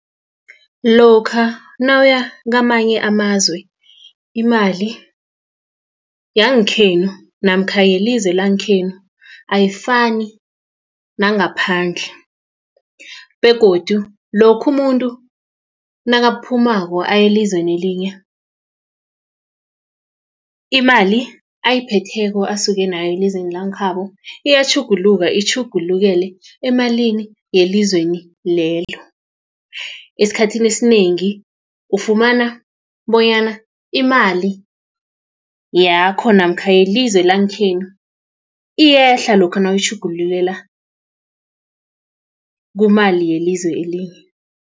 Lokha nawuya kwamanye amazwe imali yangekhenu namkha yelizwe langekhenu ayifani nangaphandle begodu lokha umuntu nakaphumulako aya elizweni elinye imali ayiphetheko asuke nayo elizweni langekhabo iyatjhuguluka itjhugulukele emalini yelizweli lelo. Esikhathini esinengi ufumana bonyana imali yakho namkha yelizwe langekhenu iyehla lokha nawutjhugululela kumali yelizwe elinye.